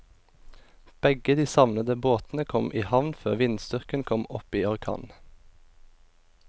Begge de savnede båtene kom i havn før vindstyrken kom opp i orkan.